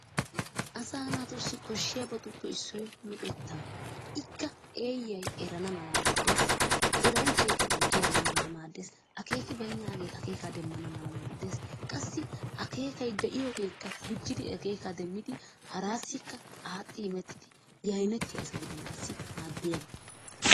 Asa naatussi koshshiyabatuppe issoy luxeta. Ikkay eeyay eran malaa maddees, eranchchaykka guji erana mala maaddees. Akkekibaynnagee akeekka demmana mala maaddees qassi akeekkay de'iyoogekka gujjidi akeekka demmidi harassikka aaxxi immettidi yayneettiya asa gidanassi maaddiyaaba.